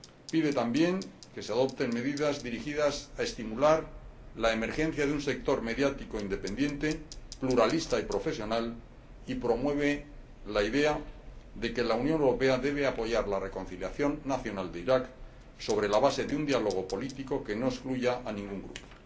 Pide también que se adopten medidas dirigidas a estimular la emergencia de un sector mediático independiente, pluralista y profesional, y promueve la idea de que la Unión Europea debe apoyar la reconciliación nacional de Irak sobre la base de un diálogo político que no excluya a ningún grupo.